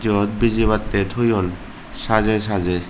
eyot bijibattey toyon sajey sajey.